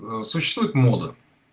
существует мода